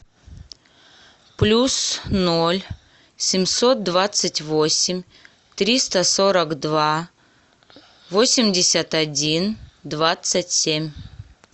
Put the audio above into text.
плюс ноль семьсот двадцать восемь триста сорок два восемьдесят один двадцать семь